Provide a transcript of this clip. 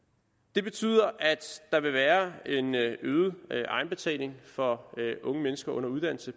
det betyder at der vil være en øget egenbetaling for unge mennesker under uddannelse